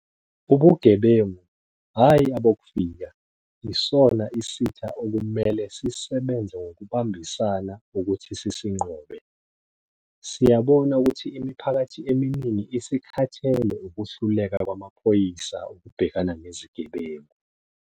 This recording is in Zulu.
Ubugebengu, hhayi abokufika, isona isitha okumele sisebenze ngokubambisana ukuthi sisinqobe. Siyabona ukuthi imiphakathi eminingi isikhathele ukuhluleka kwamaphoyisa ukubhekana nezigebengu.